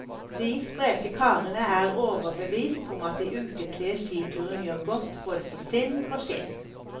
De spreke karene er overbevist om at de ukentlige skiturene gjør godt for både sinn og skinn.